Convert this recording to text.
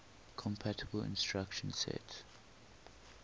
compatible instruction set